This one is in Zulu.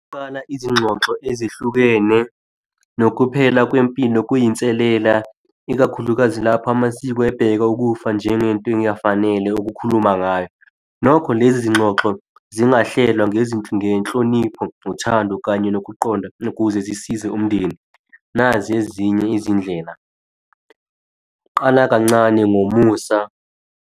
Ngingaqala izingxoxo ezihlukene nokuphela kwempilo kuyinselela ikakhulukazi lapho amasiko ebheka ukufa njengento engafanele ukukhuluma ngayo. Nokho, lezi zinxoxo zingahlela ngenhlonipho, nothando, kanye nokuqonda ukuze zisize umndeni. Nazi ezinye izindlela. Qala kancane ngomusa.